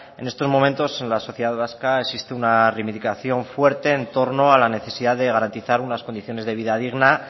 en estos momentos en la sociedad vasca existe una reivindicación fuerte en torno a la necesidad de garantizar unas condiciones de vida digna